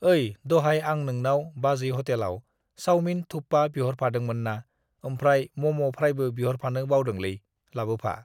ओइ दहाय आं नोंनाव बाजै हटेलाव सावमिन थुक्पा बिहरफादोंमोनना ओमफ्राय म'म' फ्रायखौ बिहरफानो बावदोंलै, लाबोफा।